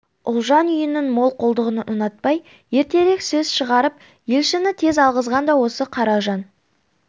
ұлжан үйінің молқолдығын ұнатпай ертерек сөз шығарып елшіні тез алғызған да осы қаражан